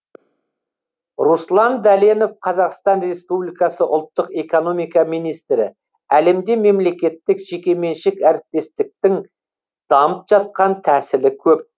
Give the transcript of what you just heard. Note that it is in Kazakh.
руслан дәленов қазақстан республикасы ұлттық экономика министрі әлемде мемлекеттік жекеменшік әріптестіктің дамып жатқан тәсілі көп